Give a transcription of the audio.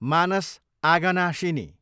मानस आगनाशिनी